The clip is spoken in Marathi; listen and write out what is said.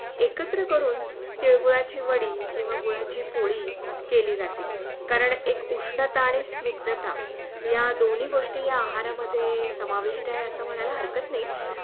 एकत्र करून तीलगूळाची वडी किवा गुळाची पोळी केली जाते कारण एक उष्णता आणि स्निग्धता या दोनी गोष्टी आहारामध्ये समाविष्ट आहे असे म्हणायला हरकत नाही.